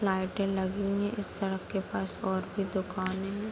लाईटे लगी हुई हैं इस सड़क के पास और भी दुकाने हैं।